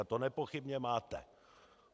A to nepochybně máte.